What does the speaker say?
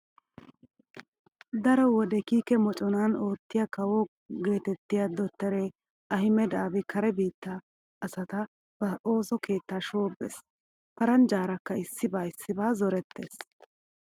Daro wode kiike moconan oottiya kawo geetetriya dottore Ahimeda Aabi kare biittaa asata ba ooso keettaa shoobbees. Parnjjaarakka issiba issiba zorettees.